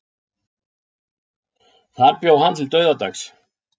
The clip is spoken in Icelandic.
Þar bjó hann til dauðadags.